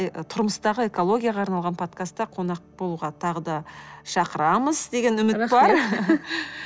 ы тұрмыстағы экологияға арналған подкастта қонақ болуға тағы да шақырамыз деген үміт бар